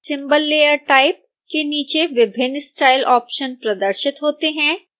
symbol layer type के नीचे विभिन्न स्टाइल ऑप्शन प्रदर्शित होते हैं